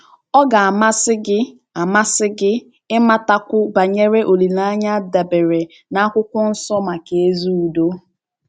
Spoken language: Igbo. Ọ̀ ga - amasị gị - amasị gị ịmatakwu banyere olileanya a dabeere na akwụkwọ nsọ maka ezi udo?